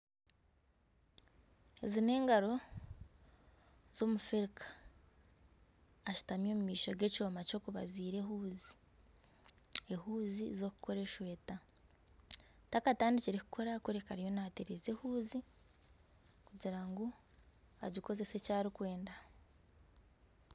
Ezi n'engaro z'omufirika ashutami omumaisho g'ekyooma ky'okubazira ehuuzi, ehuuzi z'okukora esweeta takatandikire kukora kureka ariyo nateereza ehuuzi kugira ngu agikozese eky'arikwenda.